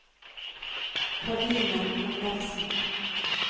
Karine Andersen